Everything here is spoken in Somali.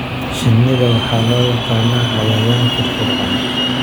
Shinida waxaa loo yaqaan cayayaan firfircoon.